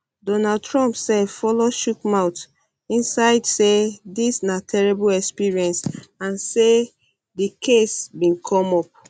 donald trump sef follow chook follow chook mouth inside say dis na terrible experience and say di case bin come up